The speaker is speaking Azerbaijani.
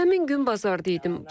Həmin gün bazarda idim.